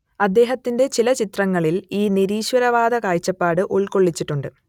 അദ്ദേഹത്തിന്റെ ചില ചിത്രങ്ങളിൽ ഈ നിരീശ്വരവാദ കാഴ്ചപ്പാട് ഉൾക്കൊള്ളിച്ചിട്ടുണ്ട്